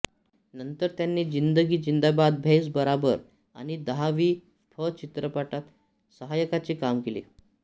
नंतर त्यांनी ज़िन्दगी जिंदाबाद भैस बराबर आणि दहावी फ चित्रपटात सहायकाचे काम केले